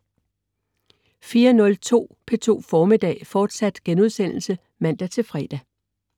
04.03 P2 Formiddag, fortsat* (man-fre)